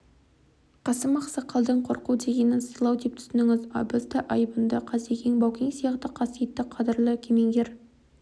қасым ақсақалдың қорқу дегенін сыйлау деп түсініңіз абыз да айбынды қасекең баукең сияқты қасиетті қадірлі кемеңгер